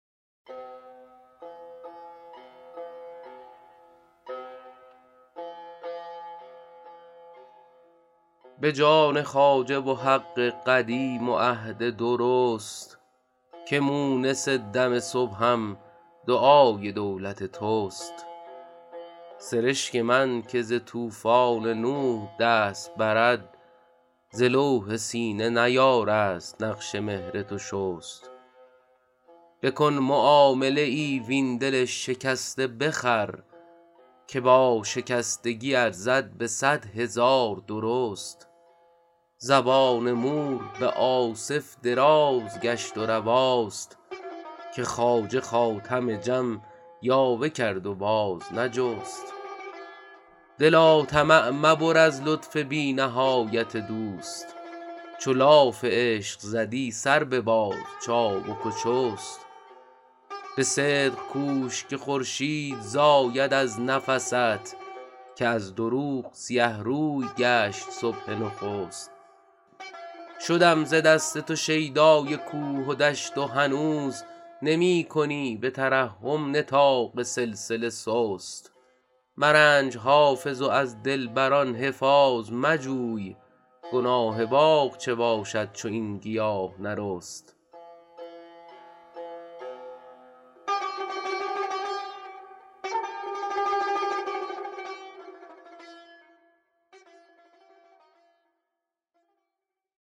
به جان خواجه و حق قدیم و عهد درست که مونس دم صبحم دعای دولت توست سرشک من که ز طوفان نوح دست برد ز لوح سینه نیارست نقش مهر تو شست بکن معامله ای وین دل شکسته بخر که با شکستگی ارزد به صد هزار درست زبان مور به آصف دراز گشت و رواست که خواجه خاتم جم یاوه کرد و باز نجست دلا طمع مبر از لطف بی نهایت دوست چو لاف عشق زدی سر بباز چابک و چست به صدق کوش که خورشید زاید از نفست که از دروغ سیه روی گشت صبح نخست شدم ز دست تو شیدای کوه و دشت و هنوز نمی کنی به ترحم نطاق سلسله سست مرنج حافظ و از دلبر ان حفاظ مجوی گناه باغ چه باشد چو این گیاه نرست